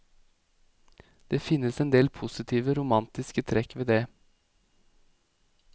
Det finnes en del positive romantiske trekk ved det.